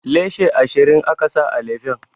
Leshi ashirin aka sa a lefen